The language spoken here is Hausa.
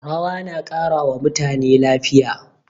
Rawa na ƙara wa mutane lafiya.